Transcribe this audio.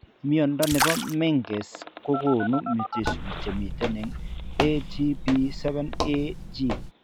Mnyondo nebo Menkes kogonu mutations chemiten en ATP7A gene